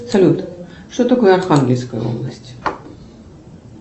салют что такое архангельская область